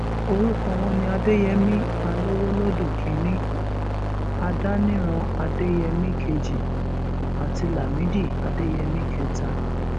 orúkọ wọn ni adéyẹmi alowolódù kínínní adániran adéyẹmi kejì àti lámìdí adéyẹmi kẹta